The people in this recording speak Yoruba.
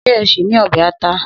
Se é ṣì ní ọbẹ̀ ata?